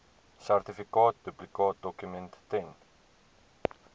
sertifikaat duplikaatdokument ten